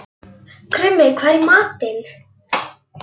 Krummi, hvað er í matinn?